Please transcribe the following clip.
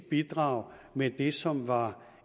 bidrag med det som var